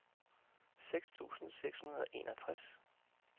seks tusind seks hundrede og enogtres